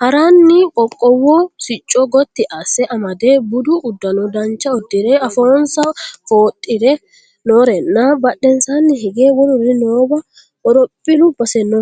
haaranni qoqqowu sicco gotti asse amade budu uddano dancha uddire afoonsa foxxoodhe noorenna badhensaanni hige wolurino noowa horophillu base no